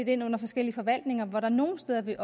ind under forskellige forvaltninger og hvor der nogle steder vil